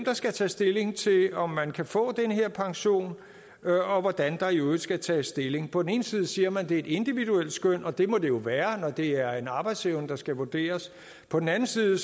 der skal tage stilling til om man kan få den her pension og hvordan der i øvrigt skal tages stilling på den ene side siger man det er et individuelt skøn og det må det jo være når det er en arbejdsevne der skal vurderes på den anden side